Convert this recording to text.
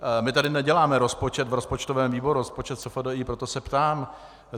My tady neděláme rozpočet v rozpočtovém výboru, rozpočet SFDI, proto se ptám.